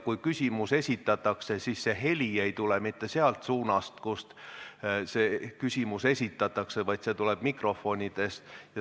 Kui küsimus esitatakse, siis heli ei tule mitte sealt suunast, kust küsimus esitatakse, vaid see tuleb mikrofonist.